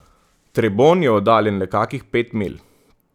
Trebon je oddaljen le kakih pet milj.